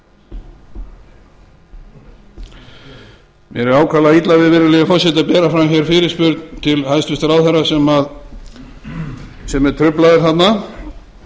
mér er ákaflega illa við virðulegi forseti að bera fram hér fyrirspurn til hæstvirts ráðherra sem er truflaður þarna en